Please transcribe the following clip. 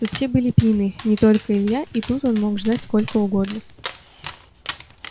тут все были пьяны не только илья и тут он мог ждать сколько угодно